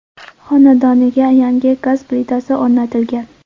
Xonadoniga yangi gaz plitasi o‘rnatilgan.